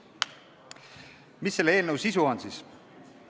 Mis selle eelnõu sisu on?